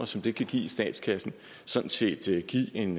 som det kan give i statskassen sådan set give en